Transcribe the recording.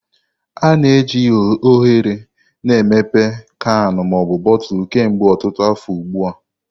A na-eji oghere na emepe kanu na botulu kemgbe ọtụtụ afọ ugbu a.